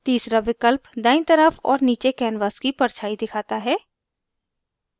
तीसरा विकल्प दायीं तरफ और नीचे canvas की परछाई दिखाता है